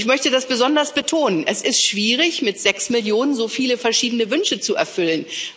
Ich möchte das besonders betonen Es ist schwierig, mit sechs Millionen so viele verschiedene Wünsche zu erfüllen.